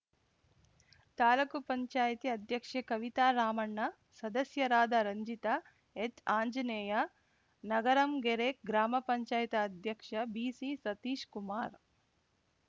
ತಾಲೂಕು ಪಂಚಾಯತಿ ಅಧ್ಯಕ್ಷೆ ಕವಿತಾ ರಾಮಣ್ಣ ಸದಸ್ಯರಾದ ರಂಜಿತಾ ಎಚ್‌ಆಂಜನೇಯ ನಗರಂಗೆರೆ ಗ್ರಾಮ ಪಂಚಾಯತಿ ಅಧ್ಯಕ್ಷ ಬಿಸಿಸತೀಶ್‌ಕುಮಾರ್‌